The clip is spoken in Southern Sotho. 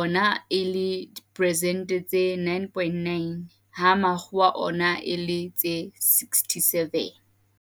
ona e le persente tse 9.9 ha Makgowa ona e le tse 67.